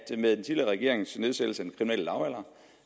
med den tidligere regerings nedsættelse